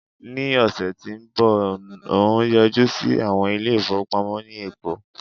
ni ọsẹ ti nbọ n o yọjú sí àwọn ilé ifowopamọ ni eko